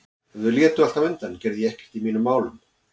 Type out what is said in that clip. Ef þau létu alltaf undan gerði ég ekkert í mínum málum.